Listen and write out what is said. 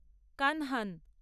Kanhan